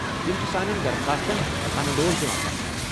تم چھِ سانٮ۪ن درخاستن کنہٕ ڈول دوان باسان ۔